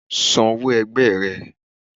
San òwó ẹ̀gbẹ rẹ̀